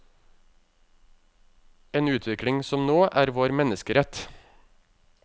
En utvikling som nå er vår menneskerett.